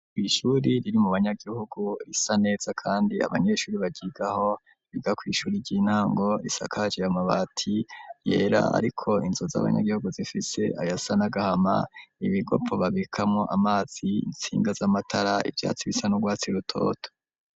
Kw'ishuri riri mu banyagihugu risa neza kandi abanyeshuri baryigaho biga kw'ishuri ry'intango risakajwe amabati yera ariko inzu z'abanyagihugu zifite ayasa n'agahama ibigopo babikamwo amazi intsinga z'amatara ivyatsi bisa n'urwatsi rutoto.